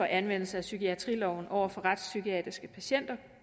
anvendelse af psykiatriloven over for retspsykiatriske patienter